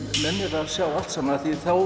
nennir að sjá allt saman